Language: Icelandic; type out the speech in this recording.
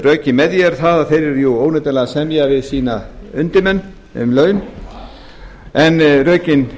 rökin með því eru fari að þeir eru óneitanlega að semja við eins undirmenn um laun en rökin